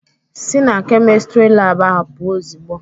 Sị na Kemịstịrị laabụ ahụ pụọ ozigbo!